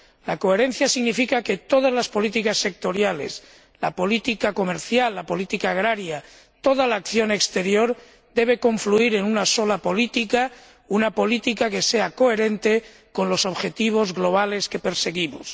La coherencia significa que todas las políticas sectoriales —la política comercial, la política agraria, toda la acción exterior— deben confluir en una sola política, una política que sea coherente con los objetivos globales que perseguimos.